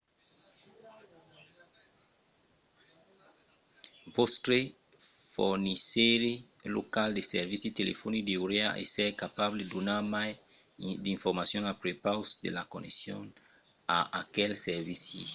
vòstre fornisseire local de servici telefonic deuriá èsser capable de donar mai d’informacions a prepaus de la connexion a aqueste servici